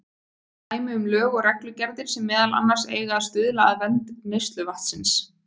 Dæmi um lög og reglugerðir sem meðal annars eiga að stuðla að vernd neysluvatnsins.